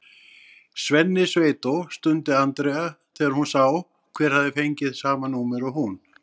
Svenni sveitó! stundi Andrea þegar hún sá hver hafði fengið sama númer og hún.